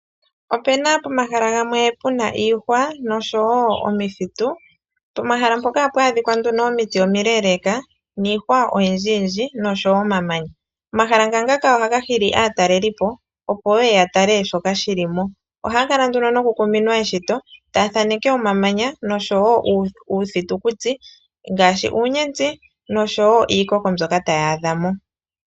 O pena pomahala gamwe pe na iihwa noshowo omakuti pomahala mpoka o ha pu adhika nduno omiti omileeleka niihwa oyindji yindji noshowo omamanya . Omahala ngaka oha ga hili aatalelipo opo yeye ya tale shoka shilimo. Oha ya kala nduno noku kuminwa eshito , ta ya thaneke omamanya noshowo iiyamakuti ngaashi uunyenti, noshowo iikoko mbyoka ta ya adhamo.